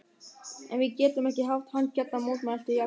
En við getum ekki haft hann hérna mótmælti Jakob.